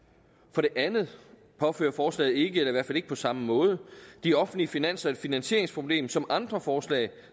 for det andet påfører forslaget ikke og i hvert fald ikke på samme måde de offentlige finanser et finansieringsproblem som andre forslag